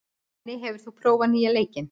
Denni, hefur þú prófað nýja leikinn?